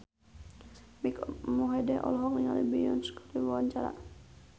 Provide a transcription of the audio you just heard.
Mike Mohede olohok ningali Beyonce keur diwawancara